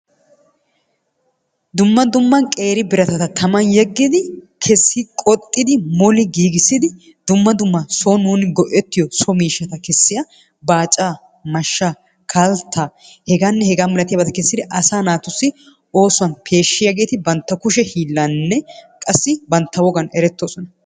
Dumma dumma qeeri biratatta tamman yegidi kesi qoxxidi moli giigissidi dumma dumma sooni nuuni go'ettiyo so miishshata kessiya baaccaa, mashshaa, kalttaa hegaanne hegaa milatiyaabata kessidi asaa naatussi oosuwan peeshshiyageti bantta kushshe hillaninne qassi bantta wogaan eretoosona.